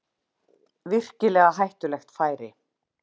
Virkilega hættulegt færi